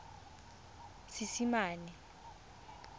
seesimane